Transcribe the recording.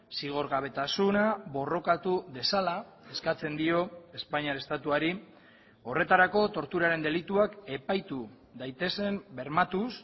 zigorgabetasuna borrokatu dezala eskatzen dio espainiar estatuari horretarako torturaren delituak epaitu daitezen bermatuz